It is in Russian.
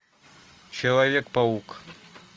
человек паук